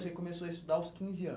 começou a estudar aos quinze anos.